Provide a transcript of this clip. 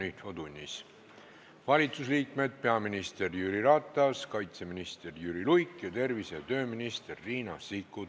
Valitsusliikmetest on kohal peaminister Jüri Ratas, kaitseminister Jüri Luik ning tervise- ja tööminister Riina Sikkut.